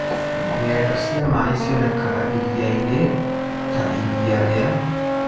Ng’endo cia maĩ cionekaga iria-inĩ ta iria rĩa Victoria.